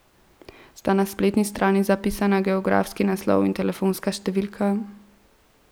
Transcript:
Sta na spletni strani zapisana geografski naslov in telefonska številka?